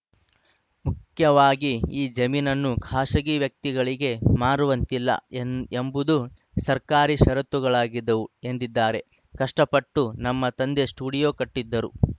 ಮುಖ್ಯವಾಗಿ ಈ ಜಮೀನನ್ನು ಖಾಸಗಿ ವ್ಯಕ್ತಿಗಳಿಗೆ ಮಾರುವಂತಿಲ್ಲ ಎಂದ್ ಎಂಬುದು ಸರ್ಕಾರಿ ಷರತ್ತುಗಳಾಗಿದ್ದವು ಎಂದಿದ್ದಾರೆ ಕಷ್ಟಪಟ್ಟು ನಮ್ಮ ತಂದೆ ಸ್ಟುಡಿಯೋ ಕಟ್ಟಿದರು